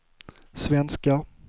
svenskar